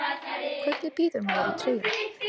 Hvernig býður maður í treyjuna?